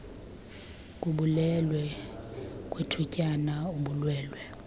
kubulwelwe kwethutyana ubulwelwe